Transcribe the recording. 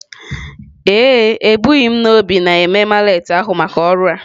Ee e, ebughi n'obi na-eme mallet ahụ maka ọrụ a.